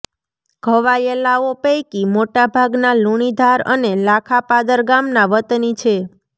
ઘવાયેલાઓ પૈકી મોટાભાગના લુણીધાર અને લાખાપાદર ગામના વતની છે